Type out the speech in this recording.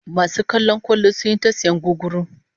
Masu kallon kwallon sun yi ta sayan gugguru